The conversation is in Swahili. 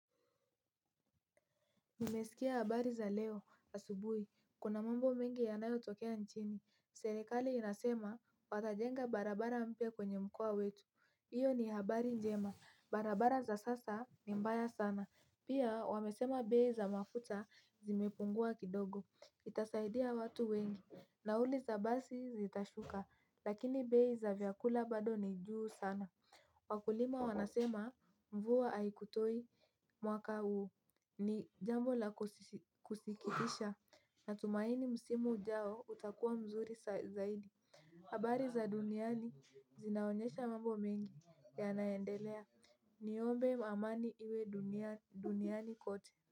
Nilisikia habari za leo asubuhi. Kuna mambo mengi yanayotokea nchini. Serikali inasema watajenga barabara mpya kwenye mkoa wetu. Iyo ni habari njema. Barabara za sasa ni mbaya sana. Pia, wamesema bei za mafuta zimepungua kidogo. Itasaidia watu wengi. Nauli za basi zitashuka. Lakini bei za vyakula bado ni juu sana. Wakulima wanasema mvua haijatosha mwaka huu, ni jambo la kusikitisha, na tunatumaini msimu ujao utakuwa mzuri zaidi. Habari za duniani zinaonyesha mambo mengi yanayoendelea, niombe amani iwe duniani kote.